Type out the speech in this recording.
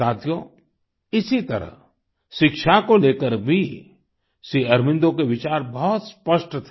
साथियो इसी तरह शिक्षा को लेकर भी श्री अरबिंदो के विचार बहुत स्पष्ट थे